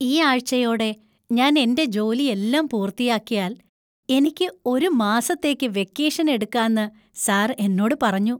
ഈ ആഴ്ചയോടെ ഞാൻ എന്‍റെ ജോലിയെല്ലാം പൂർത്തിയാക്കിയാൽ എനിക്ക് ഒരു മാസത്തേക്ക് വെക്കേഷൻ എടുക്കാന്ന് സർ എന്നോട് പറഞ്ഞു!